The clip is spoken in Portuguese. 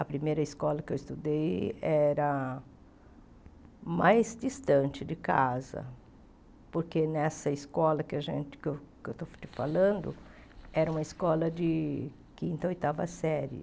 A primeira escola que eu estudei era mais distante de casa, porque nessa escola que a gente que eu que eu estou te falando era uma escola de quinta ou oitava série.